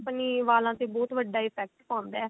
ਆਪਣੇ ਵਾਲਾਂ ਤੇ ਬਹੁਤ ਵੱਡਾ effect ਪਾਉਂਦਾ